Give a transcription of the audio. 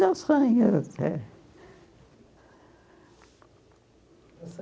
Nos sonhos é. No